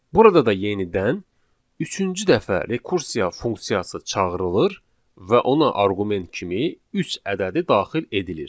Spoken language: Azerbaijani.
Burada da yenidən üçüncü dəfə rekursiya funksiyası çağırılır və ona arqument kimi üç ədədi daxil edilir.